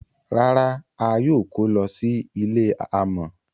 Rárá, a yóò kọ̀ lọ sí ilẹ̀ àmọ.